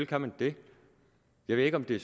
kan man det jeg ved ikke om det